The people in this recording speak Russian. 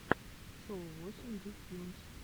шоу восемь ди тьюнс